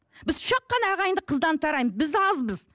біз үш ақ қана ағайынды қыздан тараймыз біз азбыз